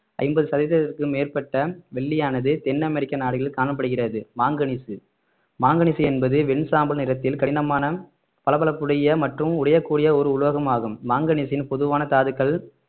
ஐம்பது சதவீதத்துக்கு மேற்பட்ட வெள்ளியானது தென் அமெரிக்க நாடுகளில் காணப்படுகிறது மாங்கனிசு மாங்கனிசு என்பது வெண் சாம்பல் நிறத்தில் கடினமான பளபளப்புடைய மற்றும் உடையக்கூடிய ஒரு உலோகம் ஆகும் மாங்கனீசின் பொதுவான தாதுக்கள்